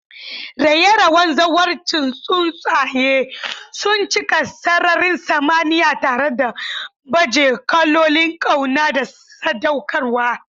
raye-rayen zawarcin tsuntsaye sun cika sararin samaniya tare da baje kolin kauna da sadaukarwa.